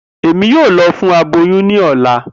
Emi yoo lọ fun aboyun ni ọla.